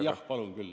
Jah, palun küll.